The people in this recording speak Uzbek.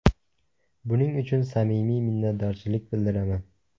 Buning uchun samimiy minnatdorchilik bildiraman.